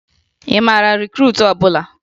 Ị mara rikruutu ọbụla?